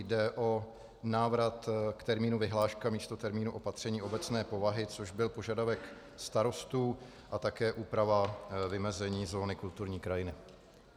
Jde o návrat k termínu vyhláška místo termínu opatření obecné povahy, což byl požadavek starostů, a také úprava vymezení zóny kulturní krajiny.